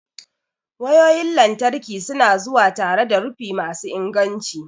wayoyin lantarki su na zuwa tare da rufi masu inganci.